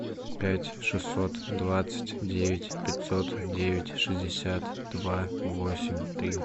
пять шестьсот двадцать девять пятьсот девять шестьдесят два восемь три